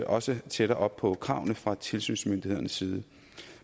også tættere op på kravene fra tilsynsmyndighedernes side